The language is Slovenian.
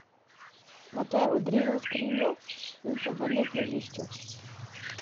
Nato je odrinil skrinjo in se vrnil k ležišču.